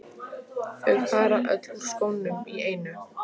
Þau fara öll úr skónum í einu.